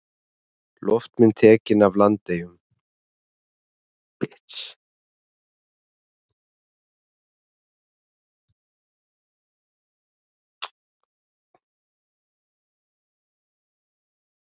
Loftmynd tekin yfir Landeyjum.